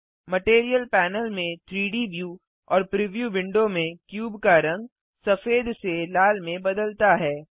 material panel में 3डी view और प्रिव्यू विंडो में क्यूब का रंग सफेद से लाल में बदलता है